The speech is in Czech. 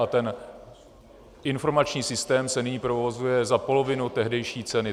A ten informační systém se nyní provozuje za polovinu tehdejší ceny.